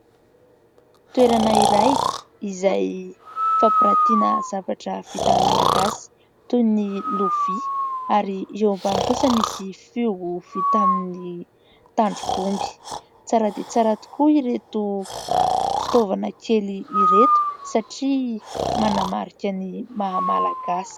Toerana iray izay fampirantiana zavatra vita malagasy toy ny lovia ary eo ambany kosa misy fihogo vita amin'ny tandrok'omby ; tsara dia tsara tokoa ireto fitaovana kely ireto satria manamarika ny maha malagasy.